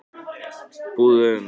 Búðu um